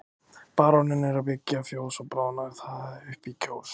Baróninn er að byggja fjós og bráðum nær það upp í Kjós.